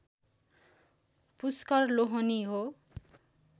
पुष्कर लोहनी हो